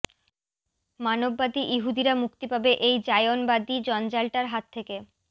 মানববাদী ইহুদিরা মুক্তি পাবে এই জায়নবাদী জঞ্জালটার হাত থেকে